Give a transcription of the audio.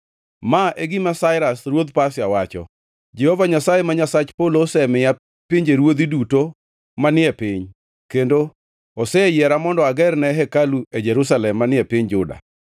Ma e gima Sairas ruodh Pasia wacho: “ ‘Jehova Nyasaye, ma Nyasach polo, osemiya pinjeruodhi duto manie piny kendo oseyiera mondo agerne hekalu e Jerusalem manie piny Juda.